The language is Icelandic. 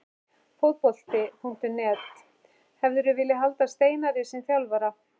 Fótbolti.net: Hefðirðu viljað halda Steinari sem þjálfara?